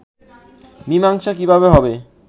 মীমাংসা কিভাবে হবে